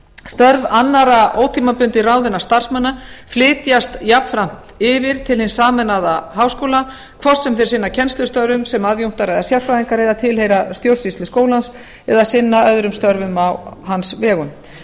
störf annarra ótímabundið ráðinna starfsmanna flytjast jafnframt yfir til hins sameinaða háskóla hvort sem þeir sinna kennslustörfum sem aðjunktar eða sérfræðingar eða tilheyra stjórnsýslu skólans eða sinna öðrum störfum á hans vegum